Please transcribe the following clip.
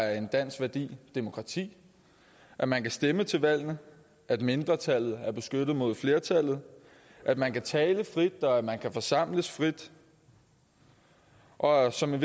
er en dansk værdi demokrati at man kan stemme til valgene at mindretallet er beskyttet mod flertallet at man kan tale frit og at man kan forsamles frit og som en